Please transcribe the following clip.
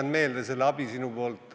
Ma jätan sinu abi meelde.